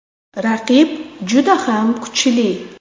Raqib juda ham kuchli.